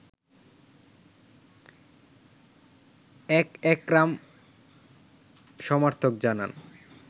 এক একরাম সমর্থক জানান